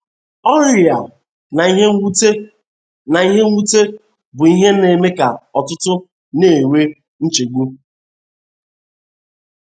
Ọrịa na ihe mwute na ihe mwute bụ ihe na eme ka ọtụtụ na - enwe nchegbu.